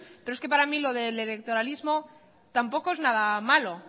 pero es que para mí lo del electoralismo tampoco es nada malo